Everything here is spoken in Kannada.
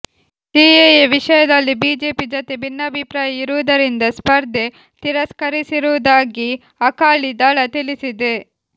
ಸಿಎಎ ವಿಷಯದಲ್ಲಿ ಬಿಜೆಪಿ ಜತೆ ಭಿನ್ನಾಭಿಪ್ರಾಯ ಇರುವುದರಿಂದ ಸ್ಪರ್ಧೆ ತಿರಸ್ಕರಿಸಿರುವುದಾಗಿ ಅಕಾಲಿ ದಳ ತಿಳಿಸಿದೆ